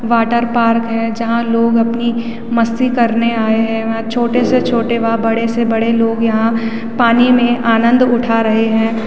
Water park है जहां लोग अपनी मस्ती करने आयें हैं। छोटे से छोटे व बड़े से बड़े लोग यहाँ पानी में आनंद उठा रहे हैं।